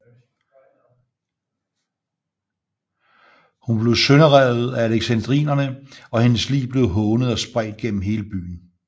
Hun blev sønderrevet af alexandrinere og hendes lig blev hånet og spredt gennem hele byen